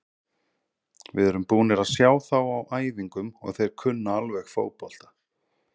Við erum búnir að sjá þá á æfingum og þeir kunna alveg fótbolta.